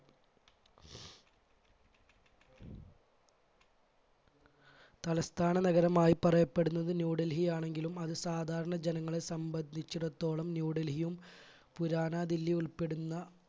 തലസ്ഥാന നഗരമായി പറയപ്പെടുന്നത് ന്യൂഡൽഹി ആണെങ്കിലും അത് സാധാരണ ജനങ്ങളെ സംബന്ധിച്ചിടത്തോളം ന്യൂഡൽഹിയും പുരാതന ദില്ലി ഉൾപ്പെടുന്ന